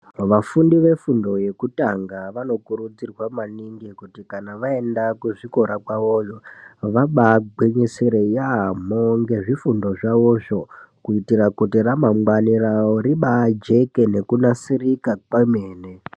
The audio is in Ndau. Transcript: Vafundi vefundo yekutanga vanokurudzirwa maningi kuti kana vaenda kuzvikora kwavoyo vabaagwinyisire yaamho ngezvifundo zvawozvo kuitire kuti ramangwani raworibaajeke nekunasirika kwemene.